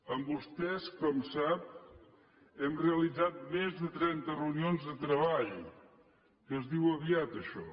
amb vostès com sap hem realitzat més del trenta reunions de treball que es diu aviat això